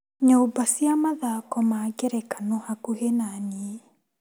Nyũmba cia mathako ma ngerekano hakuhĩ na niĩ.